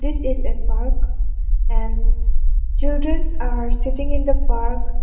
this is a park and childrens are sitting in the park.